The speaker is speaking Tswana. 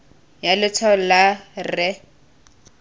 ya letshwalo la r e